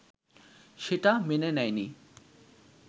সেটা মেনে নেয়নি